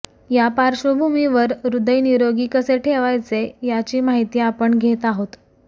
या पार्श्वभूमीवर हृदय निरोगी कसे ठेवायचे याची माहिती आपण घेत आहोत